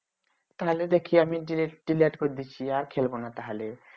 তাহলে দেখি আমি ডিলেট delete করে দিচ্ছি আর খেলব না তাহলে